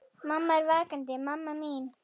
Mamma, ertu vakandi mamma mín?